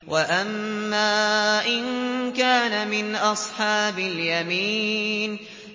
وَأَمَّا إِن كَانَ مِنْ أَصْحَابِ الْيَمِينِ